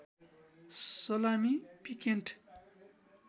salami piccante